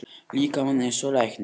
líkamann eins og læknir.